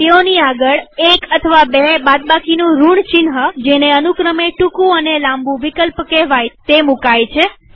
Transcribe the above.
તેઓની આગળ એક અથવા બે બાદબાકીનું ઋણ ચિહ્નજેને અનુક્રમે ટુકું અને લાંબુ વિકલ્પ કેહવાય છે તે મુકાય છે